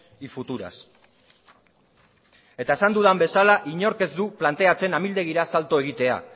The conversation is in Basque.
y futuras eta esan dudan bezala inork ez du planteatzen amildegira asalto egitea